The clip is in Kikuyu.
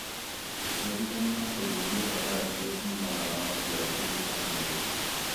ũciarithania na kũnyihia hathara irĩa ciumanaga ma maciaro kũnyiha kana gũthũka.